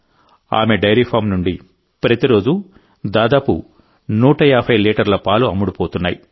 ఆమె dairy farm నుండి ప్రతిరోజూ దాదాపు 150 లీటర్ల పాలు అమ్ముడవుతున్నాయి